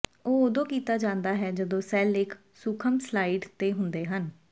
ਇਹ ਉਦੋਂ ਕੀਤਾ ਜਾਂਦਾ ਹੈ ਜਦੋਂ ਸੈੱਲ ਇਕ ਸੂਖਮ ਸਲਾਇਡ ਤੇ ਹੁੰਦੇ ਹਨ